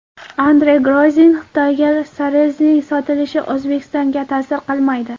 Andrey Grozin: Xitoyga Sarezning sotilishi O‘zbekistonga ta’sir qilmaydi.